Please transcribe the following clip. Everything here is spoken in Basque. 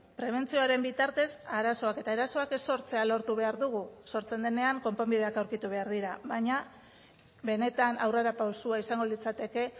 prebentzioaren bitartez arazoak eta erasoak ez sortzea lortu behar dugu sortzen denean konponbideak aurkitu behar dira baina benetan aurrerapausoa izango litzateke